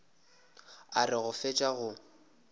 a re go fetša go